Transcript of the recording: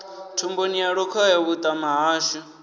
thumbuni ya lukhohe vhuṱama hashu